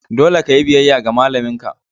Dole ka yi biyayya ga malamin ka!